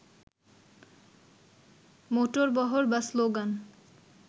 মোটরবহর বা স্লোগান